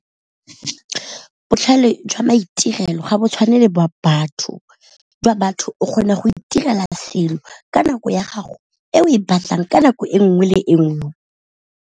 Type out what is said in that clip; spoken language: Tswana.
Botlhale jwa maitirelo ga bo tshwane le ba batho jwa batho, jwa batho o kgona go itirela selo ka nako ya gago e o e batlang ka nako e nngwe le e nngwe.